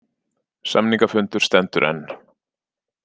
Samningafundur stendur enn